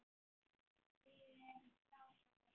Því við erum frábær.